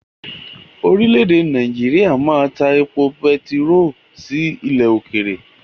Orílẹ̀-èdè Nàìjíríà máa ta èpò pẹtiró sí ilẹ̀ òkèèrè.